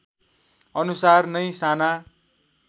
अनुसार नै साना